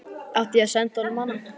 Átti ég að senda honum hana?